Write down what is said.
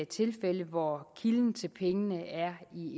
tilfælde hvor kilden til pengene er